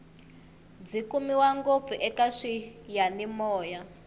byi kumiwa ngopfu eka swiyanimoya